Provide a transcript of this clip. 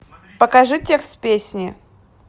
покажи текст песни